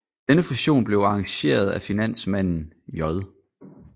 Denne fusion blev arrangeret af finansmanden J